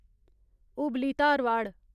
Hubli Dharwad